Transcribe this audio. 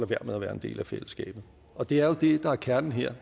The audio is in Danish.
være med at være en del af fællesskabet og det er jo det der er kernen her